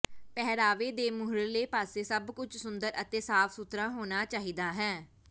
ਪਹਿਰਾਵੇ ਦੇ ਮੂਹਰਲੇ ਪਾਸੇ ਸਭ ਕੁਝ ਸੁੰਦਰ ਅਤੇ ਸਾਫ ਸੁਥਰਾ ਹੋਣਾ ਚਾਹੀਦਾ ਹੈ